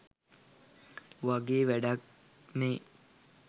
වගේ වැඩක් මේ